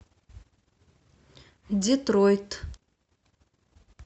детройт